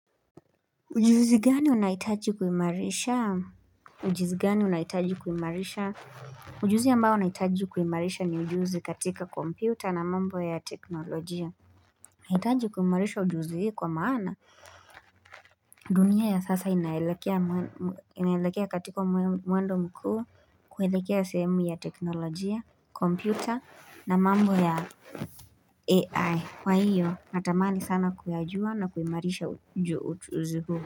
Ujuzi gani unahitaji kuimarisha Ujuzi gani unahitaji kuimarisha Ujuzi ambao nahitaji kuimarisha ni ujuzi katika kompyuta na mambo ya teknolojia Nahitaji kuimarisha ujuzi hii kwa maana dunia ya sasa inaelekea katika mwendo mkuu kuelekea sehemu ya teknolojia kompyuta na mambo ya AI kwa hiyo natamani sana kuyajua na kuimarisha ujuzi huu.